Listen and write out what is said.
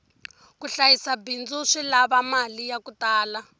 ku hlayisa bindzu swi lava mali yaku tala